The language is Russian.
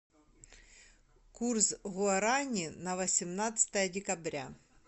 курс гуарани на восемнадцатое декабря